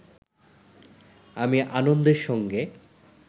আমি আনন্দের সঙ্গে